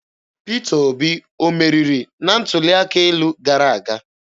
Peter Obi ọ meriri na ntuli aka elu gara aga?